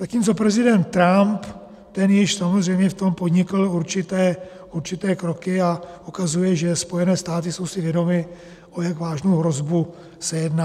Zatímco prezident Trump, ten již samozřejmě v tom podnikl určité kroky a ukazuje, že Spojené státy jsou si vědomy, o jak vážnou hrozbu se jedná.